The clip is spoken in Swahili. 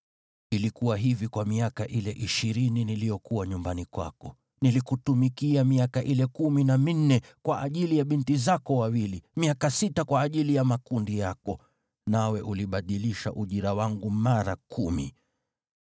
Ilikuwa hivi kwa miaka ile ishirini niliyokuwa nyumbani kwako. Nilikutumikia miaka ile kumi na minne kwa ajili ya binti zako wawili, miaka sita kwa ajili ya makundi yako, nawe ulibadilisha ujira wangu mara kumi.